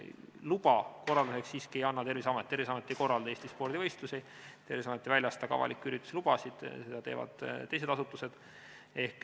Luba korraldamiseks ei anna siiski Terviseamet, Terviseamet ei korralda Eestis spordivõistlusi, Terviseamet ei väljasta ka avalike ürituste lubasid, seda teevad teised asutused.